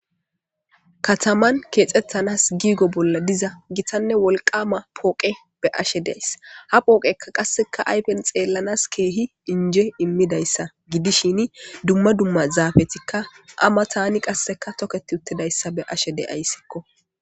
kataman keexettanas giigo bolla diza gitanne wolqama pooqe be ashe deys ha pooqekka qasseka aypen xeellanas keehi inje immidayssa gidishin dumma dumma zaafetikka ama tani qasseka toketi uttidayssa be ashe de7ayssikko